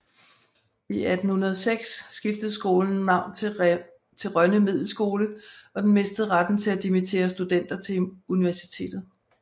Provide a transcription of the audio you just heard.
I 1806 skiftede skolen navn til Rønne Middelskole og den mistede retten til at dimittere studenter til universitetet